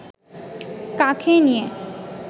কাঁখে নিয়ে